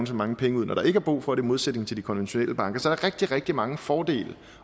så mange penge ud når der ikke er brug for det i modsætning til de konventionelle banker så der er rigtig rigtig mange fordele